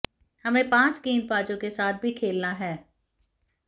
हमें पांच गेंदबाजों के साथ भी खेलना है